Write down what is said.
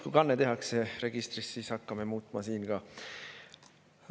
Kui kanne tehakse registrisse, siis hakkame siin ka muutma.